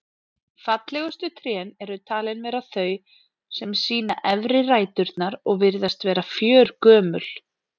Fallegustu trén eru talin vera þau sem sýna efri ræturnar og virðast vera fjörgömul.